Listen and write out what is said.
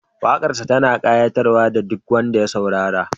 Waƙarsa tana ƙayatar da duk wanda ya saurareta